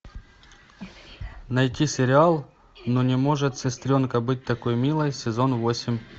найти сериал ну не может сестренка быть такой милой сезон восемь